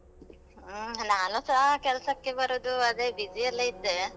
ಹ್ಮ್, ನಾನುಸ ಕೆಲ್ಸಕ್ಕೆ ಬರುದು ಅದೇ busy ಯಲ್ಲೇ ಇದ್ದೆ.